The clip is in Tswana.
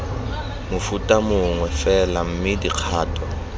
mofuta mongwe fela mme dikgato